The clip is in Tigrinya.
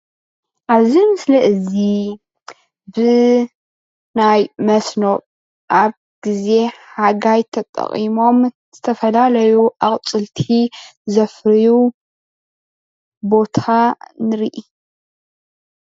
አብዚ ምሰሊ እዚ ብናይ መስኖ አብ ግዜ ሓጋይ ተጠቂሞም ዝተፈላለዩ አቁፅልቲ ዘፍርዩ ቦታ ንሪኢ፡፡